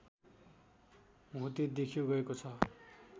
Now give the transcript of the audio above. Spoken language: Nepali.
होते देख्यो गएको छ